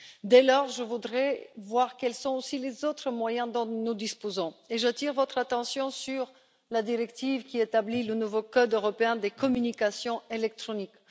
Dès lors, je voudrais voir quels sont les autres moyens dont nous disposons. J'attire votre attention sur la directive qui établit le nouveau code européen des communications électroniques.